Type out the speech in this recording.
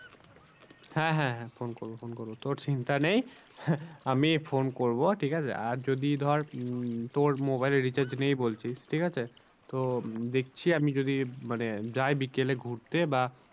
হ্যাঁ হ্যাঁ হ্যাঁ phone করবো phone করবো তোর চিন্তা নেই আমি phone করবো ঠিক আছে আর যদি ধর উম তোর mobile এ recharge নেই বলছিস ঠিক আছে। তো দেখছি আমি যদি মানে যাই বিকালে ঘুরতে বা